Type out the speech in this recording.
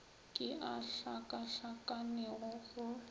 ke a a hlakahlakanego go